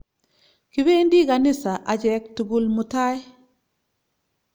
Kipendi ganisa achek tukul mutai